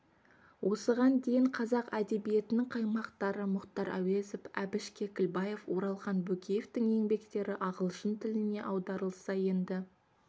осыған дейін қазақ әдебиетінің қаймақтары мұхтар әуезов әбіш кекілбаев оралхан бөкеевтің еңбектері ағылшын тіліне аударылса енді